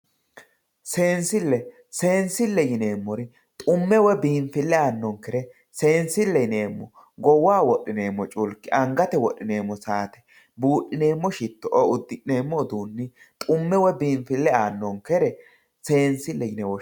seensille seensille yineemmori xumme woy biinfille aannonkere seenssille yineemmo goowaho wodhineemmo culki angate wodhineemmo saate buudhineemmo shitto"oo uddi'neemmo uduunni xumme woy biinfille aannonkere seenssille yine woshshineemmo.